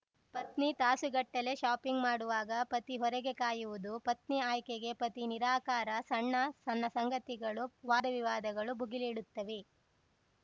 ಪತ್ನಿ ತಾಸುಗಟ್ಟಲೇ ಶಾಪಿಂಗ್‌ ಮಾಡುವಾಗ ಪತಿ ಹೊರಗೆ ಕಾಯುವುದು ಪತ್ನಿ ಆಯ್ಕೆಗೆ ಪತಿ ನಿರಾಕಾರ ಸಣ್ಣ ಸಣ್ಣ ಸಂಗತಿಗಳು ವಾದವಿವಾದಗಳು ಭುಗೆಲೇಳುತ್ತವೆ